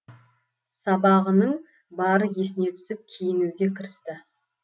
сабағының бары есіне түсіп киінуге кірісті